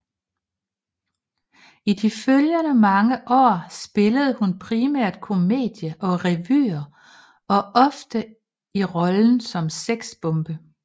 I de følgende mange år spillede hun primært komedier og revyer og ofte i rollen som sexbombe